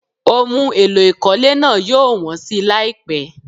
Ohun èlò ìkọ́lé náà yóò wọ́n si láìpẹ́.